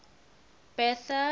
bertha